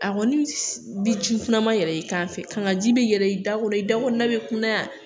A kɔni bi ji kunaman yɛlɛ i kan fɛ, kakanji bɛ yɛlɛ, i da bɛ kunnayad yan